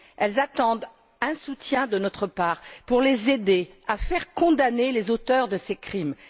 Ces femmes attendent un soutien de notre part, pour les aider à faire condamner les auteurs de ces crimes.